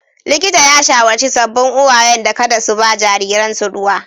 Likita ya shawarci sabbin uwayen da kada su ba jariransu ruwa.